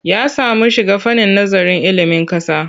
Ya samu shiga fannin nazarin ilimin ƙasa.